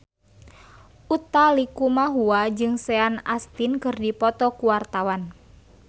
Utha Likumahua jeung Sean Astin keur dipoto ku wartawan